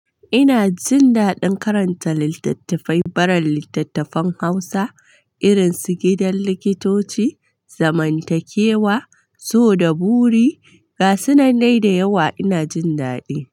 Ina jin daɗin karanta littattafai, barin littattafan Hausa irin su Gidan Likitoci, Zamantakewa, So da Buri ga sunandai da yawa ina jin daɗi.